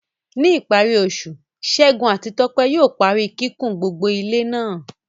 Ní ìparí oṣù, Segun àti Tope yóò parí kíkùn gbogbo ilé náà.